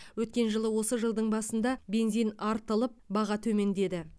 өткен жылы осы жылдың басында бензин артылып баға төмендеді